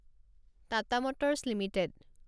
Tata motors limited